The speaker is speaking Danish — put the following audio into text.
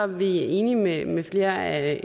vi enige med med flere af